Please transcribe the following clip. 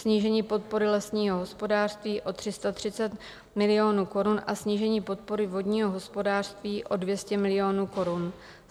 Snížení podpory lesního hospodářství o 330 milionů korun a snížení podpory vodního hospodářství o 200 milionů korun.